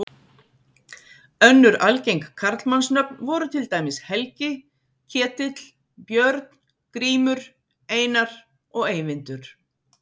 Önnur algeng karlmannsnöfn voru til dæmis Helgi, Ketill, Björn, Grímur, Einar og Eyvindur.